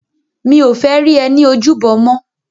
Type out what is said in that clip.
Mi ó fè ri è ni ójúbò yèn mò